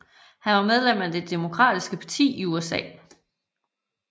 Han var medlem af Det Demokratiske Parti i USA